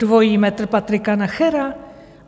Dvojí metr Patrika Nachera?